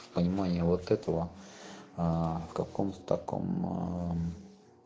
понимание вот этого в каком-то таком